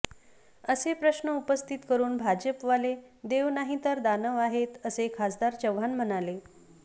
असे प्रश्न उपस्थित करून भाजपवाले देव नाही तर दानव आहेत असे खासदार चव्हाण म्हणाले